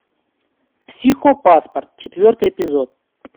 психопаспорт четвертый эпизод